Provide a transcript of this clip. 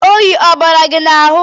Oyi ọ bara gị n'ahu?